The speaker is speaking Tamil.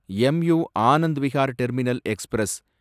MoU, Anand Vihar terminal express